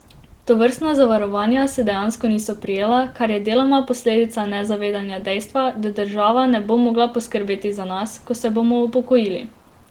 Tovrstna zavarovanja se dejansko niso prijela, kar je deloma posledica nezavedanja dejstva, da država ne bo mogla poskrbeti za nas, ko se bomo upokojili.